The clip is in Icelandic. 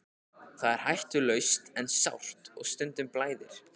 Það er hættulaust en sárt og stundum blæðir.